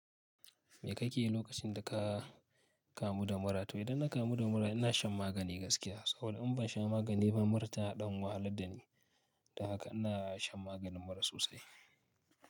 Me kake yi lokacin da ka kamu da mura tu? Idan na kamu da mura ina shan magani gaskiya. Saboda in bansha magani ba mura ta dan wahalar dani don haka ina shan maganin mura sosai.